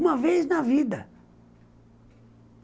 Uma vez na vida.